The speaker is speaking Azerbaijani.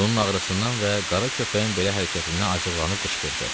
Bunun ağrısından və qara köpəyin belə hərəkətindən acıqlanıb qışqırdı.